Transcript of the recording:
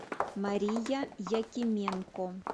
мария якименко